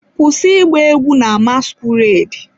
Kwụsị ịgba egwu na masquerade!